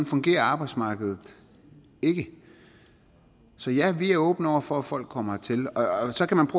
fungerer arbejdsmarkedet ikke så ja vi er åbne over for at folk kommer hertil og så kan man